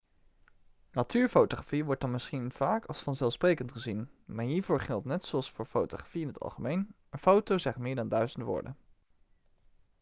natuurfotografie wordt dan misschien vaak als vanzelfsprekend gezien maar hiervoor geldt net zoals voor fotografie in het algemeen een foto zegt meer dan duizend woorden